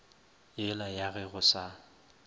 yela ya ge go sa